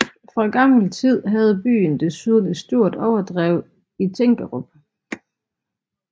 Fra gammel tid havde byen desuden et stort overdrev i Tinkerup